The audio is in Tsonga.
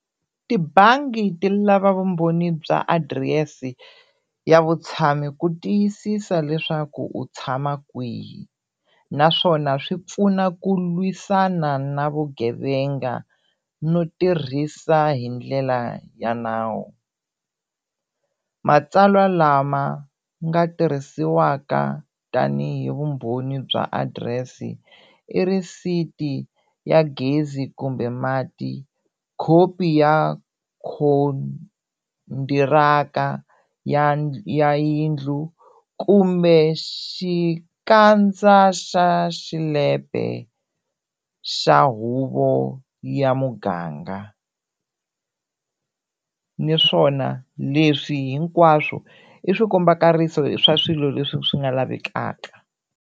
Tibangi ti lava vumbhoni bya adirese ya vutshamo ku tiyisisa leswaku u tshama kwihi naswona swi pfuna ku lwisana na vugevenga no tirhisa hi ndlela ya nawu, matsalwa lama nga tirhisiwaka tanihi vumbhoni bya adirese i receipt-i ya gezi kumbe mati, khopi ya ya ya yindlu kumbe xikandza xa xilepe xa huvo ya muganga naswona leswi hinkwaswo i swikombakariso swa swilo leswi swi nga lavekaka.